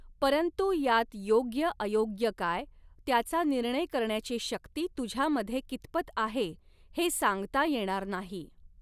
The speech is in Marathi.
परंतु यात योग्यअयोग्य काय, त्याचा निर्णय करण्याची शक्ती तुझ्यामधे कितपत आहे, ते सांगता येणार नाही.